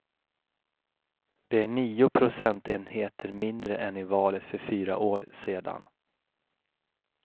Det är nio procentenheter mindre än i valet för fyra år sedan.